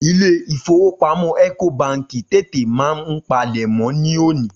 Ilé-ìfowópamó ẹ̀kòbaǹkì tètè máa ń palẹ̀mọ́ ní òní